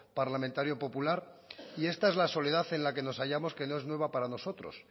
parlamentario popular y esta es la soledad en la que nos hayamos que no es nueva para nosotros